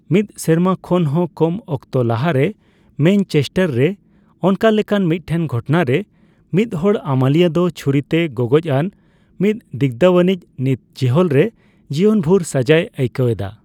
ᱢᱤᱫ ᱥᱮᱨᱢᱟ ᱠᱷᱚᱱᱦᱚ ᱠᱚᱢ ᱚᱠᱛᱚ ᱞᱟᱦᱟᱨᱮ ᱢᱮᱧᱪᱮᱥᱴᱟᱨ ᱨᱮ ᱚᱱᱠᱟ ᱞᱮᱠᱟᱱ ᱢᱤᱫᱴᱮᱱ ᱜᱷᱚᱴᱱᱟᱨᱮ ᱢᱤᱫᱦᱚᱲ ᱟᱹᱢᱟᱹᱞᱤᱭᱟᱹ ᱫᱚ ᱪᱷᱩᱨᱤ ᱛᱮᱭ ᱜᱚᱜᱚᱡᱽᱟᱱ ᱢᱤᱫ ᱫᱤᱜᱽᱫᱷᱟᱣᱟᱱᱤᱽ ᱱᱤᱛ ᱡᱮᱹᱦᱮᱹᱞ ᱨᱮ ᱡᱤᱭᱚᱱ ᱵᱷᱚᱨ ᱥᱟᱹᱡᱟᱹᱭ ᱟᱹᱭᱠᱟᱣ ᱮᱫᱟ ᱾